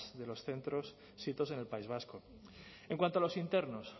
de los centros sitos en el país vasco en cuanto a los internos